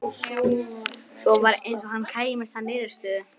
Svo var eins og hann kæmist að niðurstöðu.